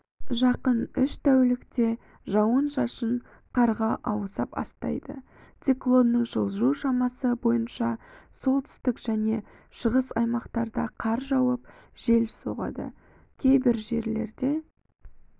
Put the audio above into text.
жақын үш тәулікте жауын-шашын қарға ауыса бастайды циклонның жылжу шамасы бойынша солтүстік және шығыс аймақтарда қар жауып жел соғады кейбір жерлерде